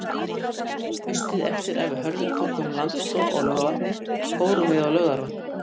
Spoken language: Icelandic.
Haustið eftir að við Hörður tókum landspróf á Laugarvatni fórum við á Laugarvatn.